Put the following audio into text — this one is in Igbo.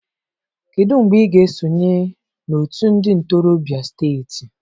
Kedu mgbe ị ga-esonye na otu ndị ntorobịa steeti.